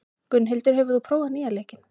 Gunnhildur, hefur þú prófað nýja leikinn?